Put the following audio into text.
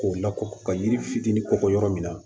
K'o lakɔ ka yiri fitinin kɔkɔ yɔrɔ min na